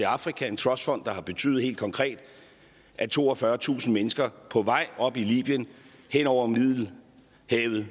afrika en trustfond der har betydet helt konkret at toogfyrretusind mennesker på vej op i libyen hen over middelhavet